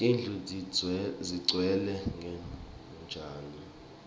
tindlu tidzeklwe ngetjani